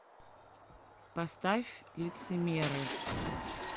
поставь лицемеры